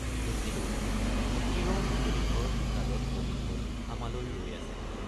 দেখিলো, মিকিৰৰ মুকলি ঘৰ বিষাদত মলিন হৈ আমালৈ ৰৈ আছে।